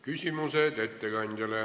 Küsimused ettekandjale.